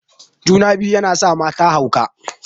Juna-biyu yana sa mata hauka.